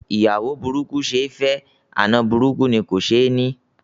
Ìyàwó burúkú ṣe ẹ́ fẹ́, àna burúkú ni kò ṣe ẹ́ ní.